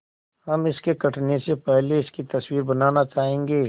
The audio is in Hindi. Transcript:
हम इसके कटने से पहले इसकी तस्वीर बनाना चाहेंगे